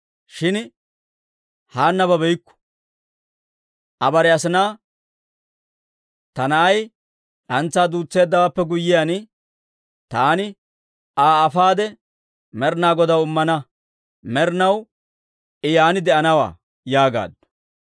shin Haanna babeykku. Aa bare asinaa, «Ta na'ay d'antsaa duutseeddawaappe guyyiyaan, taani Aa afaade, Med'inaa Godaw immana; med'inaw I yaan de'anawaa» yaagaaddu.